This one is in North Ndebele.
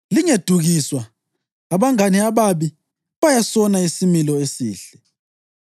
Lingedukiswa: “Abangane ababi bayasona isimilo esihle.”